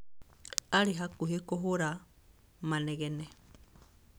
Aarĩ hakuhĩ kũhũra manegene.